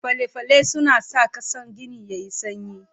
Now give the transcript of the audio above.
Fale-fale suna sa ƙasan gini yayi sanyi.